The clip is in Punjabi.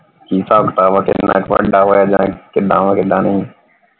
ਕਿ ਹਿਸਾਬ ਕਿਤਾਬ ਆ ਤੇ ਕਿੰਨਾ ਵੱਡਾ ਹੋਇਆ ਕਿਦਾਂ ਵਾ ਯਾਂ ਕਿਦਾਂ ਨਹੀਂ ਕਿੰਨਾ ਨਹੀਂ।